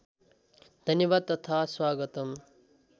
धन्यवाद तथा स्वागतम्